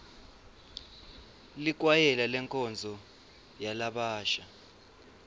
likwayela lenkonzo yalabasha